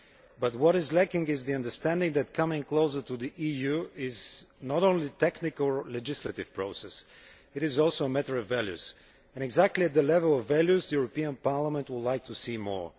But what is lacking is the understanding that coming closer to the EU is not only a technical legislative process, it is also a matter of values and exactly the level of values the European Parliament would like to see more.